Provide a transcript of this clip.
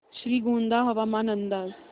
श्रीगोंदा हवामान अंदाज